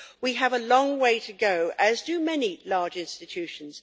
We have a long way to go, as do many large institutions.